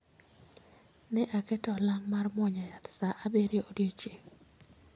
Ne aketo olang' mar muonyo yath saa abirio odiecheng'